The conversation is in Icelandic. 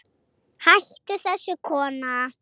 Hættu þessu kona!